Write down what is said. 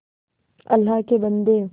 अल्लाह के बन्दे